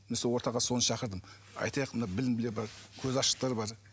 мен сол ортаға соны шақырдым айтайық мына білімділер бар көзі ашықтар бар